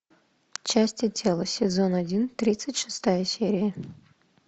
части тела сезон один тридцать шестая серия